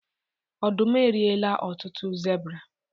ọdum eriela ọtụtụ zebra